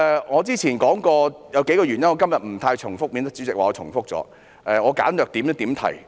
我早前已提及數個原因，今天不想重複，免得主席說我重複，所以我會簡略地點題。